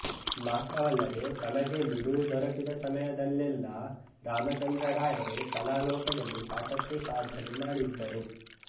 ಮಾತ್ರವಲ್ಲದೆ ತಮಗೆ ಬಿಡುವು ದೊರಕಿದ ಸಮಯದಲ್ಲೆಲ್ಲಾ ರಾಮಚಂದ್ರ ರಾಯರು ಕಲಾ ಲೋಕದಲ್ಲಿ ಸಾಕಷ್ಟು ಸಾಧನೆ ಮಾಡಿದ್ದರು